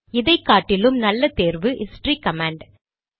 இதைக்காட்டிலும் நல்ல தேர்வு history command